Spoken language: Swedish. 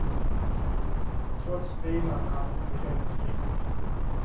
Trots vilan är han inte helt frisk.